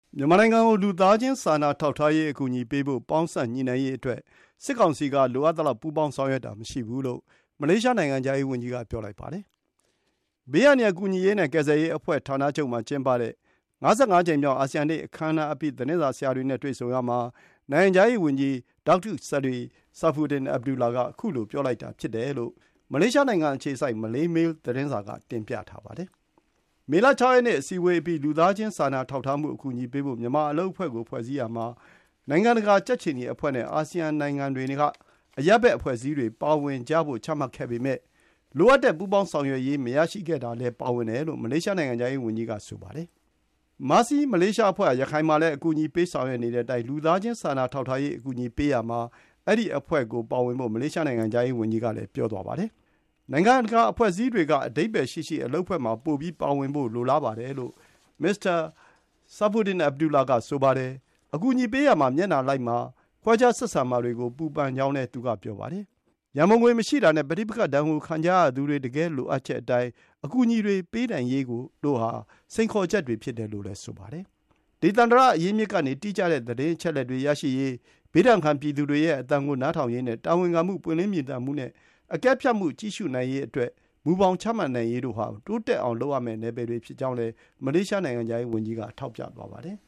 မြန်မာနိုင်ငံကို လူသားချင်း စာနာထောက်ထားရေး အကူအညီပေးဖို့ ပေါင်းစပ်ညှိနှိုင်းရေးအတွက် စစ်ကောင်စီက လိုအပ်တဲ့ ပူးပေါင်းဆောင်ရွက်တာ မရှိဘူး လို့ မလေးရှား နိုင်ငံခြားရေးဝန်ကြီးက ပြောလိုက်ပါတယ်။ သဘာဝဘေးအန္တရာယ် ကူညီရေးနဲ့ကယ်ဆယ်ရေးအဖွဲ့ ဌာနချုပ်မှာ ကျင်းပတဲ့ ၅၅ ကြိမ်‌မြောက် အာဆီယံနေ့ အခမ်းအနားအပြီး သတင်းစာဆရာတွေနဲ့ တွေ့ဆုံရာမှာ နိုင်ငံခြားရေးဝန်ကြီး Datuk Seri Saifuddin Abdullah က ခုလို ပြောလိုက်တာ ဖြစ်တယ်လို့ မလေးရှားနိုင်ငံအခြေစိုက် မလေးမေးလ် သတင်းစာက တင်ပြထားပါတယ်။ မေလ ၆ ရက်နေ့ အစည်းအဝေးအပြီး လူသားချင်းစာနာထောက်ထားမှု အကူအညီပေးဖို့ မြန်မာအလုပ်အဖွဲ့ကို ဖွဲ့စည်းရာမှာ နိုင်ငံတကာ ကြက်ခြေနီအဖွဲ့နဲ့ အာဆီယံနိုင်ငံတွေက အရပ်ဘက်အဖွဲ့အစည်းတွေ ပါဝင်ကြဖို့ ချမှတ်ခဲ့ပေမယ့် လိုအပ်တဲ့ ပူးပေါင်းဆောင်ရွက်ရေး မရရှိခဲ့တာလည်း ပါဝင်တယ်လို့ မလေးရှား နိုင်ငံခြားရေးဝန်ကြီးက ဆိုပါတယ်။ Mercy Malaysia အဖွဲ့ဟာ ရခိုင်မှာလည်း အကူအညီပေး ဆောင်ရွက်နေတဲ့အတိုင်းကို လူသားချင်းစာနာထောက်ထားရေး အကူအညီပေးရာမှာ အဲဒီ အဖွဲ့ပါဝင်ဖို့ မလေးရှား နိုင်ငံခြားရေးဝန်ကြီးက ပြောသွားပါတယ်။ “ နိုင်ငံတကာအဖွဲ့အစည်းတွေက အဓိပ္ပါယ်ရှိရှိအလုပ်အဖွဲ့မှာ ပိုပြီးပါဝင်ဖို့ လိုလားပါတယ်” လို့ မစ္စတာ Saifuddin Abdullah က ဆိုပါတယ်။ အကူအညီပေးရာမှာ မျက်နှာလိုက်မှာ ခွဲခြားဆက်ဆံမှာတွေကို ပူပန်ကြောင်းလည်း သူက ပြောပါတယ်။ ရန်ပုံငွေမရှိတာနဲ့ ပဋိပက္ခဒဏ်ကို ခံကြရသူတွေ တကယ့်လိုအပ်ချက်အတိုင်း အကူအညီတွေ ပေးနိုင်ရေးတို့ဟာ စိန်ခေါ်ချက်တွေ ဖြစ်တယ်လို့ ဆိုပါတယ်။ ေ ဒေသန္တရအရင်းအမြစ်ကနေ တိကျတဲ့သတင်းအချက်အလက်တွေ ရရှိရေး၊ ဘေးဒဏ်ခံ ပြည်သူတွေရဲ့အသံကို နားထောင်ရေးနဲ့ တာဝန်ခံမှု၊ ပွင်းလင်းမြင်သာမှုနဲ့ အကဲဖြတ်ကြည့်ရှုနိုင်ရေးအတွက် မူဘောင်ချမှတ်ရေးတို့ဟာ တိုးတက်အောင် လုပ်ရမယ့် နယ်ပယ်တွေ ဖြစ်ကြောင်းလည်း မလေးရှား နိုင်ငံခြားရေးဝန်ကြီးက ထောက်ပြသွားပါတယ်